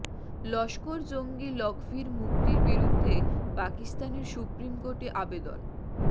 লস্কর জঙ্গি লকভির মুক্তির বিরুদ্ধে পাকিস্তানের সুপ্রিম কোর্টে আবেদন